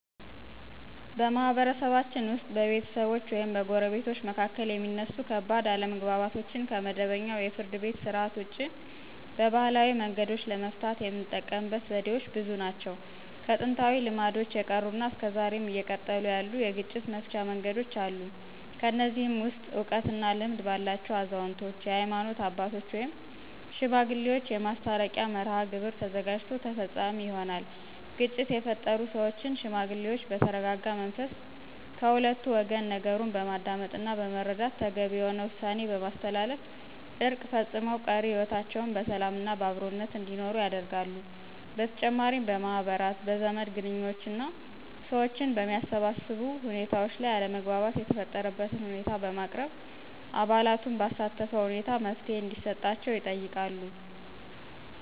በማህበረሰባችን ውስጥ በቤተሰቦች ወይም በጎረቤቶች መካከል የሚነሱ ከባድ አለመግባባቶችን ከመደበኛው የፍርድ ቤት ሥርዓት ውጪ በባህላዊ መንገዶች ለመፍታት የምንጠቀምበት ዘዴዎች ብዙ ናቸው። ከጥንታዊ ልማዶች የቀሩና እስከ ዛሬም እየቀጠሉ ያሉ የግጭት መፍቻ መንገዶች አሉ። ከነዚህም ውስጥ እውቀት እና ልምድ ባላቸው አዛውንቶች፣ የሀይማኖት አባቶች ወይም ሽማግሌዎች የማስታረቂያ መርሐግብር ተዘጋጅቶ ተፈፃሚ ይሆናል። ግጭት የፈጠሩ ሰዎችን ሽማግሌዎች በተረጋጋ መንፈስ ከሁለቱ ወገን ነገሩን በማዳመጥና በመረዳት ተገቢ የሆነ ውሳኔ በማስተላለፍ እርቅ ፈፅመው ቀሪ ህይወታቸውን በሰላምና በአብሮነት እንዲኖሩ ያደርጋሉ። በተጨማሪም በማህበራት፣ በዘመድ ግንኙዎችና ሰዎችን በሚያሰባስቡ ሁኔታዎች ላይ አለመግባባት የተፈጠረበትን ሁኔታ በማቅረብ አባላቱን ባሳተፈ ሁኔታ መፍትሔ እንዲሰጣቸው ይጠይቃሉ።